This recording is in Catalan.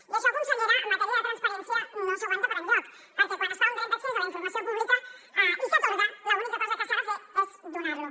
i això consellera en matèria de transparència no s’aguanta per enlloc perquè quan es fa un dret d’accés a la informació pública i s’atorga l’única cosa que s’ha de fer és donar lo